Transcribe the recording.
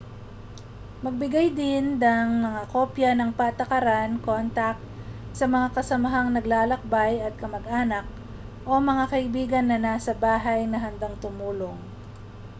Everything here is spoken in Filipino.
magbigay din ng mga kopya ng patakaran/contact sa mga kasamang naglalakbay at kamag-anak o mga kaibigan na nasa bahay na handang tumulong